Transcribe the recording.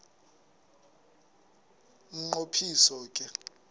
umnqo phiso ke